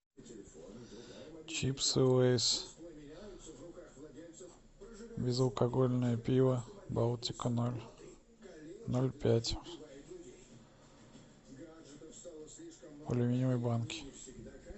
чипсы лейс безалкогольное пиво балтика ноль ноль пять в аллюминиевой банке